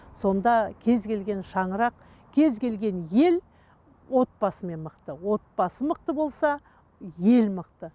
сонда кез келген шанырақ кез келген ел отбасымен мықты отбасы мықты болса ел мықты